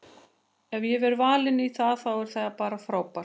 Ef ég verð valinn í það þá er það bara frábært.